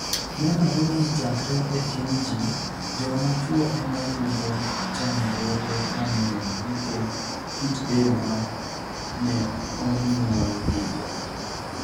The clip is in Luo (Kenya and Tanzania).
ni enore nii chakre e tini gi, joma chwo ema yudo chanidruoge manig'eniy niikech kit del ma ni e oniyuolgigo.